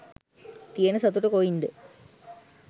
තියන සතුට කොයින්ද?